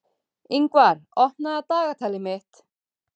Yngvar, opnaðu dagatalið mitt.